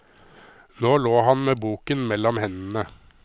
Nå lå han med boken mellom hendene.